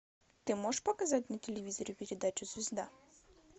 ты можешь показать на телевизоре передачу звезда